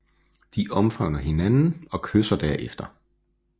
De omfavner hinanden og kysser derefter